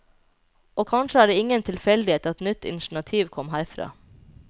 Og kanskje er det ingen tilfeldighet at et nytt initiativ kom herfra.